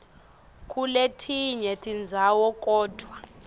kuletinye tindzawo kodvwa